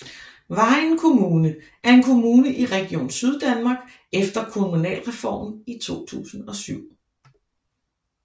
Vejen Kommune er en kommune i Region Syddanmark efter Kommunalreformen i 2007